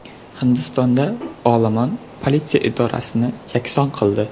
Hindistonda olomon politsiya idorasini yakson qildi.